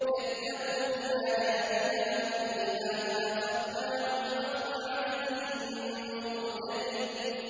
كَذَّبُوا بِآيَاتِنَا كُلِّهَا فَأَخَذْنَاهُمْ أَخْذَ عَزِيزٍ مُّقْتَدِرٍ